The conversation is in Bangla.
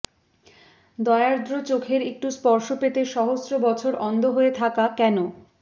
দয়ার্দ্র চোখের একটু স্পর্শ পেতে সহস্র বছর অন্ধ হয়ে থাকা কেন